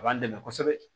A b'an dɛmɛ kosɛbɛ